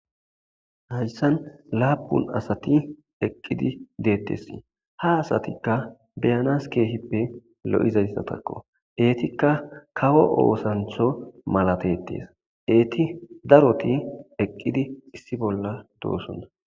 Hayssan laapun asati eqqidi deettessi ha asatikka beyanas keehippe lo7izayssatakko eetikka kawo oosantho malatetees eeti daroti eqqidi issi bolla doosonna